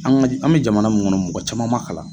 An ka an bɛ jamana mun kɔnɔ mɔgɔ caman man kalan.